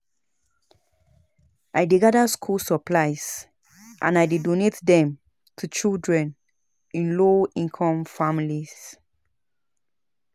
I dey gather school supplies and I dey donate dem to children in low-income families.